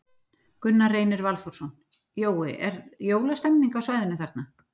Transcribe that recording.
Gunnar Reynir Valþórsson: Jói, er jólastemmning á svæðinu þarna?